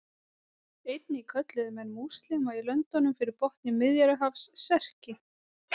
Einnig kölluðu menn múslíma í löndunum fyrir botni Miðjarðarhafs Serki.